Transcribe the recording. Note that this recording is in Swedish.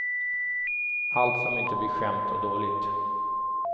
Allt som inte blir skämt och dåligt.